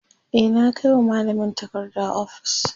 e na Kai wa mallamin takarda ofis